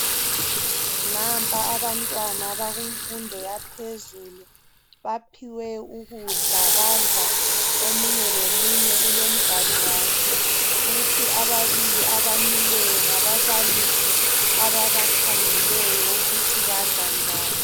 Nampa abantwana abaku mfundo yaphezulu baphiwe ukudla badla omunye lomunye ulomganu wakhe, kuthi ababili abamileyo ngababalisi ababakhangeleyo ukuthi badla njani.